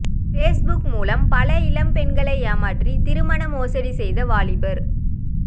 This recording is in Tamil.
பேஸ்புக் மூலம் பல இளம்பெண்களை ஏமாற்றி திருமண மோசடி செய்த வாலிபர்